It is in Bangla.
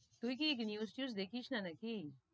তুই কি news টিউজ দেখিস না, না কি?